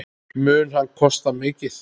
Mun hann kosta mikið?